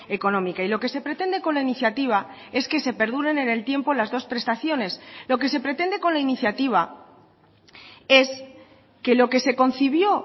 económica y lo que se pretende con la iniciativa es que se perduren en el tiempo las dos prestaciones lo que se pretende con la iniciativa es que lo que se concibió